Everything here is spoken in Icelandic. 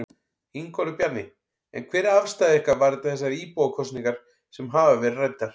Ingólfur Bjarni: En hver er afstaða ykkar varðandi þessar íbúakosningar sem hafa verið ræddar?